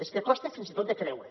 és que costa fins i tot de creure